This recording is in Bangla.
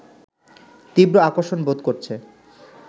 তীব্র আকর্ষণ বোধ করছে